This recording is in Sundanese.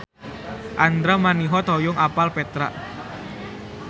Andra Manihot hoyong apal Petra